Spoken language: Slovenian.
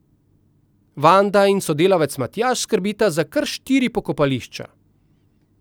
Vanda in sodelavec Matjaž skrbita za kar štiri pokopališča.